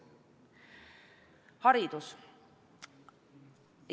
Haridus.